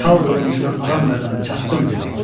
Çal qılıncını Ağam Qazan çattım, dedi.